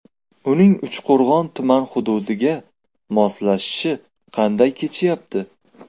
Uning Uchqo‘rg‘on tuman hududiga moslashishi qanday kechyapti?